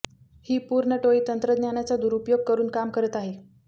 ही पूर्ण टोळी तंत्रज्ञानाचा दुरुपयोग करून काम करत आहे